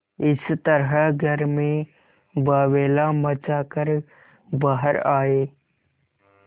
इस तरह घर में बावैला मचा कर बाहर आये